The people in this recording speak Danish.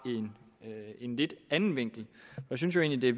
en lidt anden vinkel jeg synes egentlig